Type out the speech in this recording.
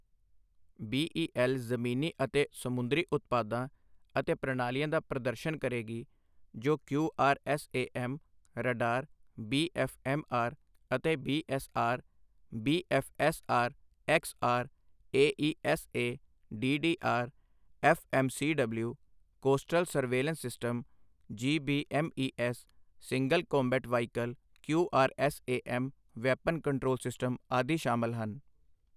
BEL ਜ਼ਮੀਨੀ ਅਤੇ ਸਮੁੰਦਰੀ ਉਤਪਾਦਾਂ ਅਤੇ ਪ੍ਰਣਾਲੀਆਂ ਦਾ ਪ੍ਰਦਰਸ਼ਨ ਕਰੇਗੀ ਜੋ ਕਿਊਆਰਐਸਏਐਮ ਰਡਾਰ ਬੀਐਫਐਮਐਰ ਅਤੇ BSR, BFSR XR, AESA, DDR FMCW, coastal surveillance system, GBMES, single combat vehicle QRSAM, weapon control system ਆਦਿ ਸ਼ਾਮਿਲ ਹਨ।